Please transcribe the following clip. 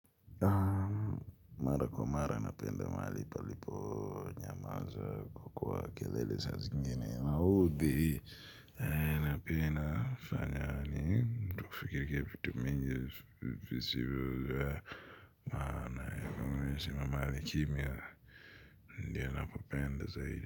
Mara kwa mara na penda mahali palipo nyamaza kwa kwa kelele sa zi ngine na hudi na ina pia ina fanyani mtu fikirikia vitu mingi visibu maana ya kwa mahali kimya ndiyo napo penda zaidi.